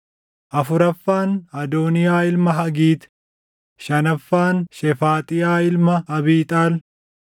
afuraffaan Adooniyaa ilma Hagiit; shanaffaan Shefaaxiyaa ilma Abiixaal;